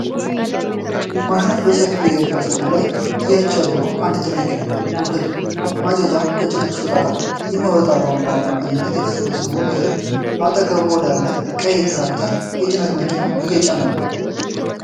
ማሽኖች በሰፊ የእህል እርሻ ላይ እያጨዱ ነው። አንድ ትልቅ ውህድ ማጨጃ ከጭነቱ ሾጣጣ በሚወጣ ቧንቧ አማካኝነት የተሰበሰበውን እህል በአጠገቡ ወዳለ ቀይ ትራክተር የጭነት መኪና እየጫነ ነው።